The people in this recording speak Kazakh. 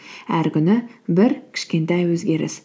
әр күні бір кішкентай өзгеріс